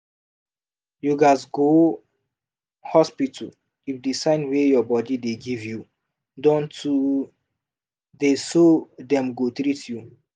you gats go hospital if the sign wey your body dey give you don too theyso dem go treat you